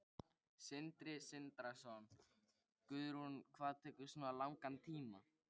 Sindri Sindrason: Guðrún, hvað tekur svona langan tíma?